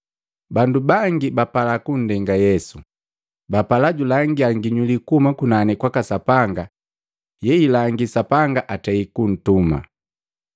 Bandu bangi bapala kundenga Yesu, bapala julangila nginyuli kuhuma kunani kwaka Sapanga yeilangi Sapanga antei kuntuma.